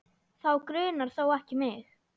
Þá grunar þó ekki mig?